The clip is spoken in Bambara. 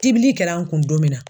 Tibili kɛr'an kun don min na